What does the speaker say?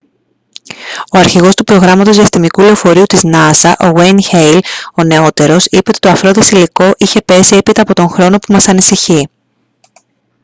ο αρχηγός του προγράμματος διαστημικού λεωφορείου της νασα ν. γουέιν χέιλ ο νεότερος είπε ότι το αφρώδες υλικό είχε πέσει «έπειτα από τον χρόνο που μας ανησυχεί»